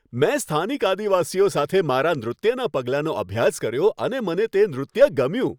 મેં સ્થાનિક આદિવાસીઓ સાથે મારા નૃત્યના પગલાંનો અભ્યાસ કર્યો અને મને તે નૃત્ય ગમ્યું.